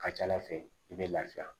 Ka ca ala fɛ i bɛ lafiya